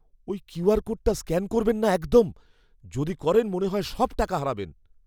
ওই কিউআর কোডটা স্ক্যান করবেন না একদম। যদি করেন, মনে হয় সব টাকা হারাবেন।